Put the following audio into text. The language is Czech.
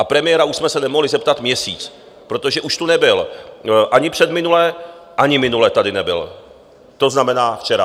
A premiéra už jsme se nemohli zeptat měsíc, protože už tu nebyl ani předminule, ani minule tady nebyl, to znamená včera.